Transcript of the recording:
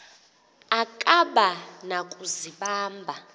akaba na kuzibamba